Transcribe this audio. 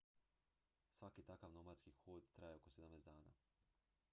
svaki takav nomadski hod traje oko 17 dana